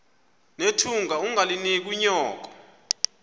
nethunga ungalinik unyoko